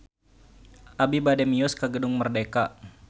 Abi bade mios ka Gedung Merdeka